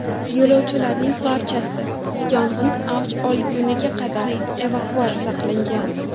Yo‘lovchilarning barchasi yong‘in avj olgunga qadar evakuatsiya qilingan.